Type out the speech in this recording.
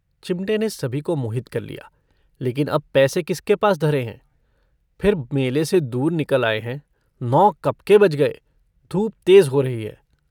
चिमटे ने सभी को मोहित कर लिया। लेकिन अब पैसे किसके पास धरे हैं। फिर मेले से दूर निकल आए हैं। नौ कब के बज गए। धूप तेज़ हो रही है।